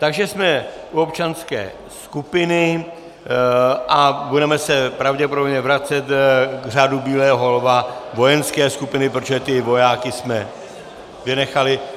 Takže jsme u občanské skupiny a budeme se pravděpodobně vracet k Řádu bílého lva vojenské skupiny, protože ty vojáky jsme vynechali.